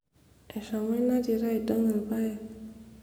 eshomo ina tito aidong ilpayek